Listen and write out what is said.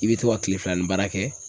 I bɛ to ka kile filanan ni baara kɛ.